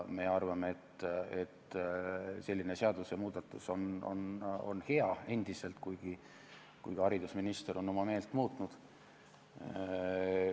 Me arvame endiselt, et selline seadusemuudatus on hea, kuigi haridusminister on oma meelt muutnud.